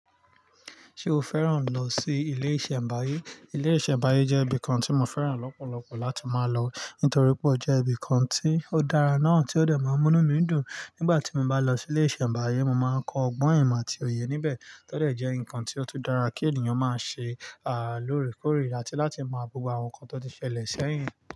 Ṣé o fẹ́ràn lọ sí ilé ìṣẹ̀mbáyé? Ilé ìṣẹ̀mbáyé jẹ́ ibi kan tí mo fẹ́ràn lọ́pọ̀lọpọ̀ láti máa lọ nítorí pé ó jẹ́ ibi kan tí ó dára náà tí ó dẹ̀ máa ń mú mí dùn. Nígbà tí mo bá lọ sí ilé ìṣẹ̀mbáyé, mo máa ń kọ ọgbọ́n ìmọ̀ àti òye níbẹ̀, tó dẹ̀ jẹ́ nǹkan tí ó tún dára kí ènìyàn máa ṣe loore koore àti láti mo gbogbo àwọn nǹkan tó ti ṣẹlẹ̀ sẹ́yìn.